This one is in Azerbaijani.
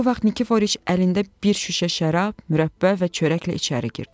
O vaxt Nikiforiş əlində bir şüşə şərab, mürəbbə və çörəklə içəri girdi.